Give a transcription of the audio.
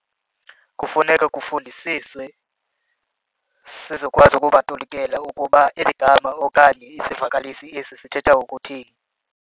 Kufuneka kufundisiswe sizokwazi ukubatolikela ukuba eli gama okanye isivakalisi esi sithetha ukuthini.